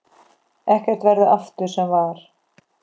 Ekkert verður aftur sem var.